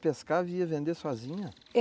Você pescava e ia vender sozinha?